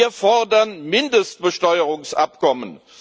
Wir fordern Mindestbesteuerungsabkommen!